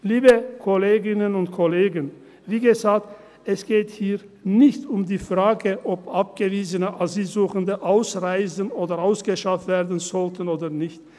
Liebe Kolleginnen und Kollegen, wie gesagt, es geht hier nicht um die Frage, ob abgewiesene Asylsuchende ausreisen oder ausgeschafft werden sollten oder nicht.